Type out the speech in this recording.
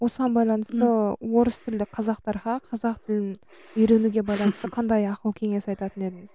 осыған байланысты орыс тілді қазақтарға қазақ тілін үйренуге байланысты қандай ақыл кеңес айтатын едіңіз